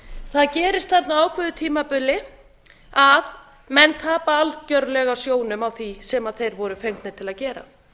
það gerist þarna á ákveðnu tímabili að menn tapa algjörlega sjónum á því sem þeir voru fengnir til að gera